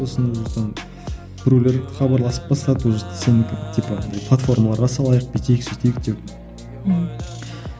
сосын там біреулер хабарласып бастады уже сенікін типа андай платформаларға салайық бүйтейік сөйтейік деп ммм